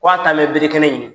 K' a taa bɛ berekɛnɛ ɲini.